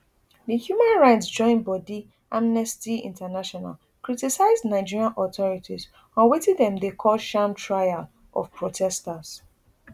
di human rights join bodi amnesty international criticize nigerian authorities on wetin dem dey call sham trial of protesters